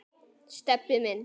Stebbi minn.